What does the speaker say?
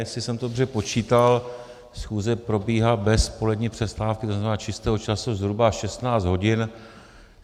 Jestli jsem to dobře počítal, schůze probíhá bez polední přestávky, to znamená čistého času, zhruba 16 hodin.